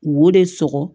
Wo de sɔgɔ